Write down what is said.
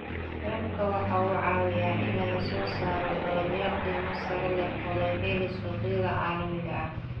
Waraabka waxa uu caawiyaa in laga soo saaro dalagyo qiimo sare leh oo laga helo suuqyada caalamiga ah.